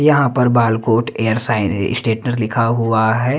यहां पर Balakot air science स्टेटनर लिखा हुआ है।